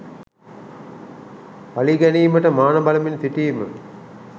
පලි ගැනීමට මාන බලමින් සිටීම